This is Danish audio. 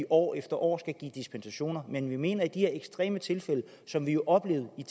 år efter år skal give dispensationer men vi mener i de her ekstreme tilfælde som vi jo oplevede i